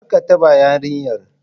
Kar ka taba yarinyar!